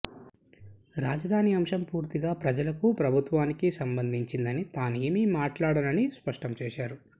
రాజధాని అంశం పూర్తిగా ప్రజలకు ప్రభుత్వానికి సంబంధించినది తానే ఏమి మాట్లాడనని స్పష్టం చేశారు